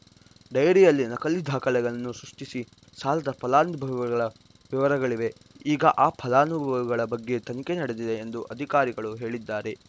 ಡೈರಿಯಲ್ಲಿ ನಕಲಿ ದಾಖಲೆಗಳನ್ನು ಸೃಷ್ಟಿಸಿ ಸಾಲದ ಫಲಾನುಭವಿಗಳ ವಿವರಗಳಿವೆ ಈಗ ಆ ಫಲಾನುಭವಿಗಳ ಬಗ್ಗೆ ತನಿಖೆ ನಡೆದಿದೆ ಎಂದು ಅಧಿಕಾರಿಗಳು ಹೇಳಿದ್ದಾರೆ